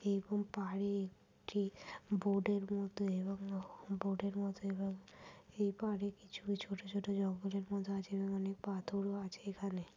এইরকম পাহাড়ে একটি বোর্ডের মত এবং বোর্ডের মত এবং এই পাহাড়ে কিছু ছোট ছোট জঙ্গলের মত আছে এখানে। অনেক পাথরও আছে এখানে।